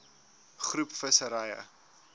groep visserye